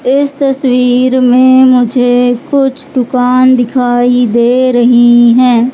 इस तस्वीर में मुझे कुछ दुकान दिखाई दे रही हैं।